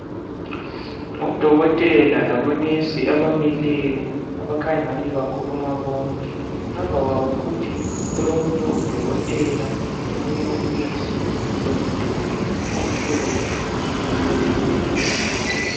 Odokotela labonesi abamileyo abakhanya ingani bakhuluma bonke ngemva kwabo futhi kulomunye udokotela lomunye unesi lomduli omhlophe lamawindi.